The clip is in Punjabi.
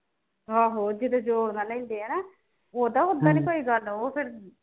ਆਹੋ ਜਦੋਂ ਜੋਰ ਨਾਲ ਲੈਂਦੇ ਆ ਨਾ ਉਦਾਂ ਉੱਦਾਂ ਨੀ ਕੋਈ ਗੱਲ ਉਹ ਫਿਰ